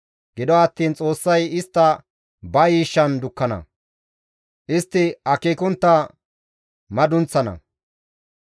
Gido attiin Xoossay istta ba yiishshan dukkana; istti akeekontta madunththana.